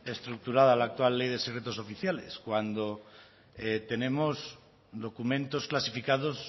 estructurada la actual ley de secretos oficiales cuando tenemos documentos clasificados